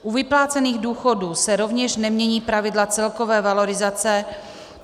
U vyplácených důchodů se rovněž nemění pravidla celkové valorizace.